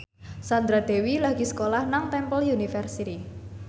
Sandra Dewi lagi sekolah nang Temple University